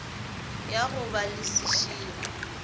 ya go ba le seširo